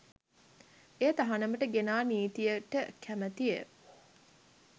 එය තහනමට ගෙනා නීතියට කැමතිය.